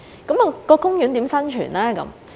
那麼公園如何生存呢？